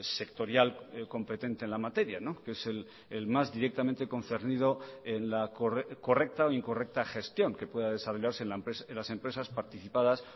sectorial competente en la materia que es el más directamente concernido en la correcta o incorrecta gestión que pueda desarrollarse en las empresas participadas